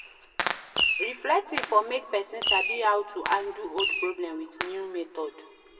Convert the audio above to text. Reflecting for make person sabi how to handle old problem with new method